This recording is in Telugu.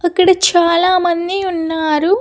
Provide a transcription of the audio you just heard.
అక్కడ చాలామంది ఉన్నారు.